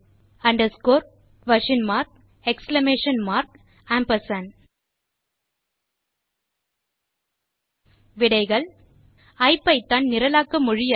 under score question mark exclamation mark ampersand amp விடைகள் ஐபிதான் நிரலாக்க மொழி அல்ல